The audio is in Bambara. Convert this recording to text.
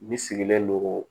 Ne sigilen don